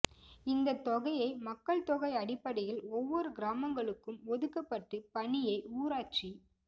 இந்த தொகையை மக்கள் தொகை அடிப்படையில் ஒவ்வொரு கிராமங்களுக்கும் ஒதுக்கப்பட்டு பணியை ஊராட்சி